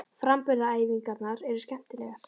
Framburðaræfingarnar eru skemmtilegar.